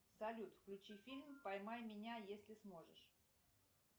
салют включи фильм поймай меня если сможешь